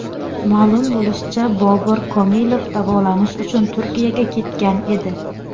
Ma’lum bo‘lishicha, Bobur Komilov davolanish uchun Turkiyaga ketgan edi.